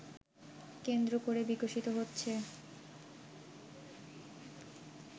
কেন্দ্র করে বিকশিত হচ্ছে